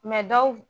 dɔw